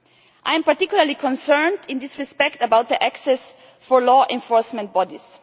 I am particularly concerned, in this respect, about access for law enforcement bodies.